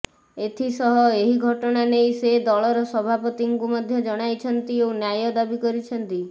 ଏଥିସହ ଏହି ଘଟଣା ନେଇ ସେ ଦଳର ସଭାପତିଙ୍କୁ ମଧ୍ୟ ଜଣାଇଛନ୍ତି ଓ ନ୍ୟାୟ ଦାବି କରିଛନ୍ତି